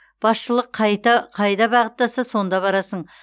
басшылық қайда бағыттаса сонда барасың